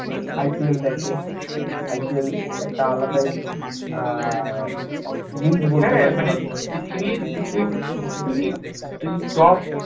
IPL দেখে IPL একটা আলাদাই আহ পৃথিবীর পৃথিবীর top